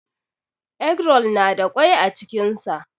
Eggroll na da kwai a cikin sa.